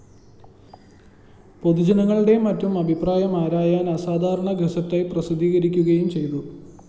പൊതുജനങ്ങളുടെയും മറ്റും അഭിപ്രായം ആരായാന്‍ അസാധാരണ ഗസറ്റായി പ്രസിദ്ധീകരിക്കുകയും ചെയ്തു